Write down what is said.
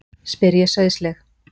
spyr ég sauðsleg.